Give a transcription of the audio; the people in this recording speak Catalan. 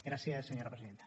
gràcies senyora presidenta